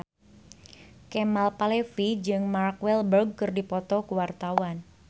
Kemal Palevi jeung Mark Walberg keur dipoto ku wartawan